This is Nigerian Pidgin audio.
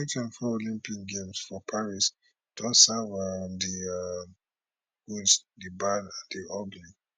di 2024 olympic games for paris don serve um di um good di bad and di ugly